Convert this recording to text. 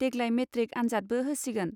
देग्लाय मेट्रिक आनजादबो होसिगोन.